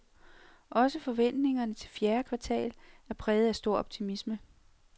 Også forventningerne til fjerde kvartal er præget af stor optimisme.